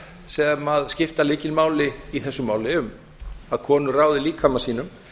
sem skipta lykilmáli í þessu máli um að konur ráði líkama sínum